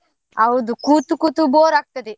ಹೌದು, ಕೂತು ಕೂತು bore ಆಗ್ತದೆ.